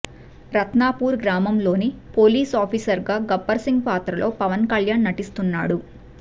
రత్నపూర్ గ్రామంలోని పోలీస్ ఆఫీసర్గా గబ్బర్ సింగ్ పాత్రలో పవన్కళ్యాణ్ నటిస్తున్నాడు